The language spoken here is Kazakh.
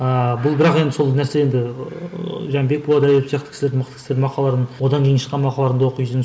ааа бұл бірақ енді сол нәрсе енді ыыы және бекболат әдетов сияқты кісілердің мықты кісілердің мақалаларын одан кейін шыққан мақалаларын да оқисың